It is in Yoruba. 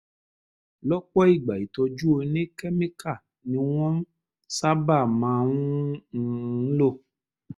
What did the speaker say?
lọ́pọ̀ ìgbà ìtọ́jú oníkẹ́míkà ni wọ́n sábà máa ń um lò